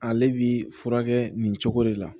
Ale bi furakɛ nin cogo de la